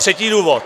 Třetí důvod.